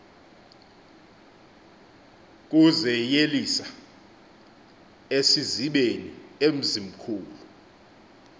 kuzeyelisela esizibeni emzimkulu